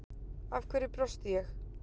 Af hverju brosti ég